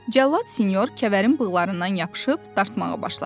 Cəllad Sinyor Kəvərin bığlarından yapışıb dartmağa başladı.